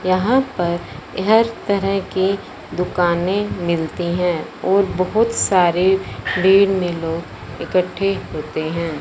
यहां पर हर तरह की दुकाने मिलती हैं और बहोत सारे भीड़ में लोग इकट्ठे होते हैं।